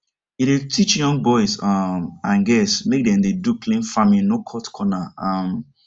he dey teach young boys um and girls make dem dey do clean farming no cut corner um